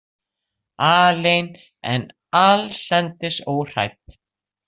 Alein en allsendis óhrædd.